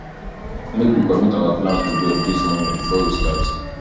make we commit our plans to god this morning before we start